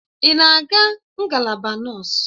Ị na-aga ngalaba nọọsụ?